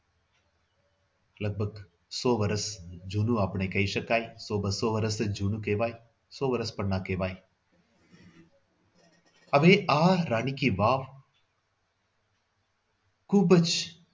લગભગ સો વર્ષ જુનું આપણે કહી શકાય તો બસો વર્ષ જ જુનું કહેવાય સો વર્ષ પણ ના કહેવાય. હવે આ રાણી કી વાવ ખૂબ જ